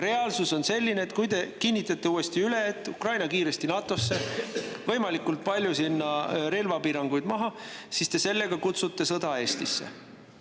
Reaalsus on selline, et kui te kinnitate uuesti üle, et Ukraina peab saama kiiresti NATO‑sse ja võimalikult palju relvapiiranguid tuleb maha võtta, siis te kutsute sellega sõda Eestisse.